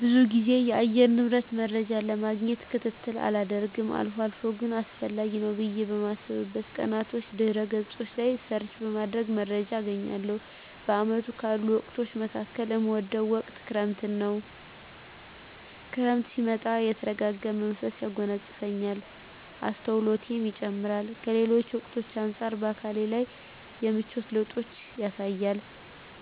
ብዙ ግዜ የአየር ንብረት መረጃን ለማግኘት ክትትል አላደርግም አልፎ አልፎ ግን አስፈላጊ ነው ብየ በማስብበት ቀናቶች ድህረ ገጾች ላይ ሰርች በማድረግ መረጃ አገኛለሁ። በአመቱ ካሉ ወቅቶች መካከል እምወደው ወቅት ክረምትን ነው። ክረምት ሲመጣ የተረጋጋ መንፈስ ያጎናጽፈኛል፣ አስተውሎቴ ይጨምራር፣ ከሌሎች ወቅቶች አንጻር በአካሌ ላይም የምቿት ለውጦችን ያሳያል፣